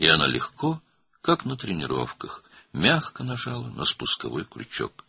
Və o, məşqlərdə olduğu kimi asanlıqla, yüngülcə tətiyi çəkdi.